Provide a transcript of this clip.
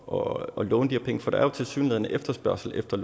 og låne de her penge for der er jo tilsyneladende efterspørgsel efter